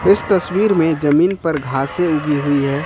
इस तस्वीर में जमीन पर घासें उगी हुई है।